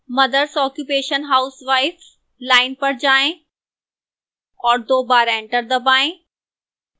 mothers occupation housewife line पर जाएं और दो बार enter दबाएं